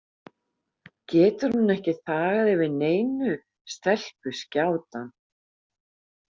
Getur hún ekki þagað yfir neinu, stelpuskjátan?